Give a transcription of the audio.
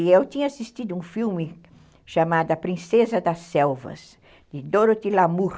E eu tinha assistido um filme chamado A Princesa das Selvas, de Dorothy Lamour.